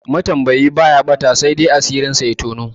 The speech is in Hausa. Matambayi baya ɓata, saidai asirinsa ya toni.